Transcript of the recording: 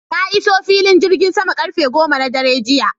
Na iso filin jirgin sama karfe goma na dare jiya